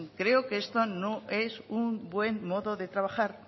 creo que esto no es un bueno modo de trabajar